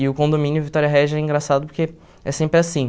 E o condomínio Vitória Regia é engraçado porque é sempre assim.